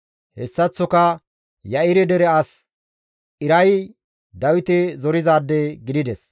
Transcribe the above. Hessaththoka Ya7ire dere as Iray Dawite zorizaade gidides.